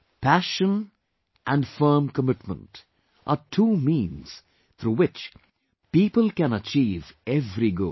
Passion and firm commitment are two means through which people can achieve every goal